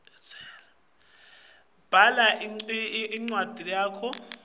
bhala umlandvomphilo wakho